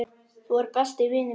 Þú ert besti vinur minn.